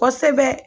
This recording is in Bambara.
Kosɛbɛ